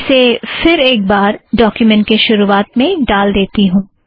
इसे फ़िर एक बार डोक्युमेंट के शुरुवात में ड़ाल देती हूँ